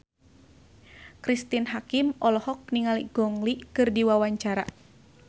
Cristine Hakim olohok ningali Gong Li keur diwawancara